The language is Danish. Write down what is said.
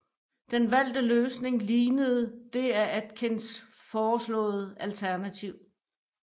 Den valgte løsning lignede det af Atkins foreslåede alternativ